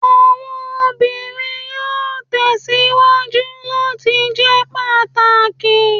Awọn obinrin yoo tẹsiwaju lati jẹ pataki